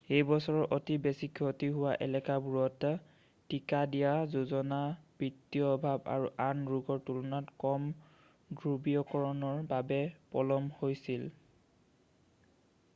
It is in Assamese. এইবছৰৰ অতি বেছি ক্ষতি হোৱা এলেকাবোৰত টীকা দিয়া যোজনা বিত্তীয় অভাৱ আৰু আন ৰোগৰ তুলনাত কম ধ্ৰুৱীয়কৰণৰ বাবে পলম হৈছিল